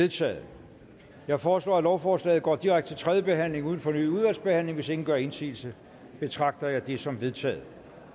vedtaget jeg foreslår at lovforslaget går direkte til tredje behandling uden fornyet udvalgsbehandling hvis ingen gør indsigelse betragter jeg det som vedtaget